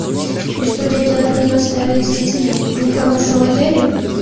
и что дядя атмин оставят здесь не хорошего дядю